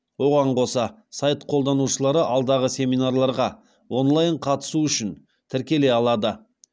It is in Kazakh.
оған қоса сайт қолданушылары алдағы семинарларға онлайн қатысу үшін тіркеле алады